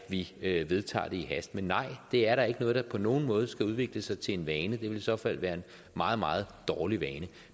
vi vedtager det i hast men nej det er da ikke noget der på nogen måde skal udvikle sig til en vane det ville i så fald være en meget meget dårlig vane